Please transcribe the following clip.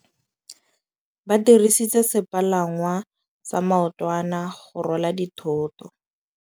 Ba dirisitse sepalangwasa maotwana go rwala dithôtô.